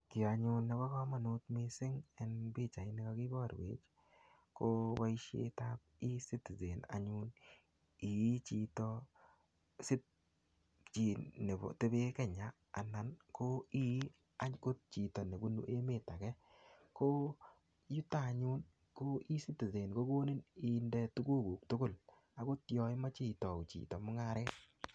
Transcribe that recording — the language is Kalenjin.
Kiy anyun nebo komonut missing eng pichait ni kakiborwech, ko boisietap E-citizen anyun. Yei chito chi nekotebe Kenya, anan ko ii angot chito nebunu emet age. Ko yutok anyun, ko E-citizen kokonin inde tuguk kuk tugul. Agot yoimeche itau chito mung'aret.